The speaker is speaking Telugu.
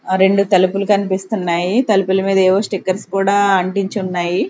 ఆ రెండు తలుపులు కన్పిస్తున్నాయి తలుపుల మీద ఏవో స్టిక్కర్స్ కూడా అంటించ్చున్నాయి.